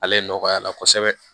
Ale nɔgɔyala kosɛbɛ